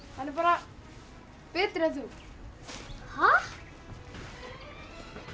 hann er bara betri en þú ha ég